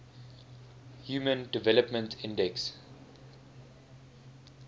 human development index